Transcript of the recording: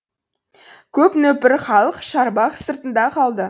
көп нөпір халық шарбақ сыртында қалды